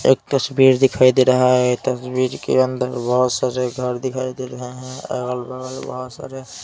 एक तस्वीर दिखाई दे रहा है तस्वीर के अंदर बहुत सारे घर दिखाई दे रहे हैं अगल बगल बहुत सारे--